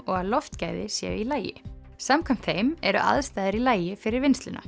og að loftgæði séu í lagi samkvæmt þeim eru aðstæður í lagi fyrir vinnsluna